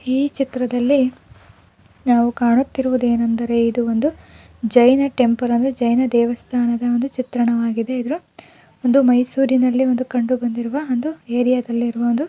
ಈ ಚಿತ್ರದಲ್ಲಿ ನಾವು ಕಾಣುತಿರುವುದೇನೆಂದರೆ ಇದು ಒಂದು ಜೈನ ಟೆಂಪಲ್ ಅಂದರೆ ಜೈನ ದೇವಸ್ತಾನದ ಒಂದು ಚಿತ್ರಣವಾಗಿದೆ ಇದು ಒಂದು ಮೈಸೂರುನಲ್ಲಿ ಒಂದು ಕಂಡು ಬಂದಿರುವ ಒಂದು ಏರಿಯಾ ದಲ್ಲಿ ಇರವಂದು --